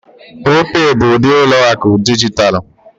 Opay bụ ụdị ụlọ akụ dijitalụ.